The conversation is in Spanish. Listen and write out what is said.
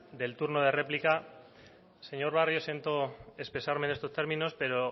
del turno de réplica señor barrio siento expresarme en estos términos pero